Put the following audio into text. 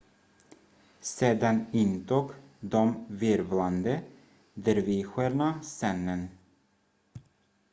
sedan intog de virvlande dervischerna scenen